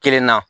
Kelen na